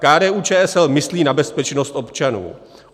KDU-ČSL myslí na bezpečnost občanů.